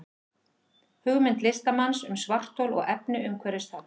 Hugmynd listamanns um svarthol og efni umhverfis það.